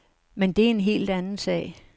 Men det er en helt anden sag.